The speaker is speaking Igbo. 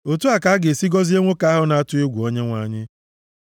Otu a ka a ga-esi gọzie nwoke ahụ na-atụ egwu Onyenwe anyị.